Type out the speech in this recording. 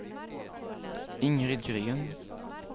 Ingrid Gren